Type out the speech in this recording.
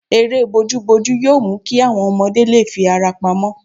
Eré bojúbojú yóò mú kí àwọn ọmọdé lè fi ara pamọ́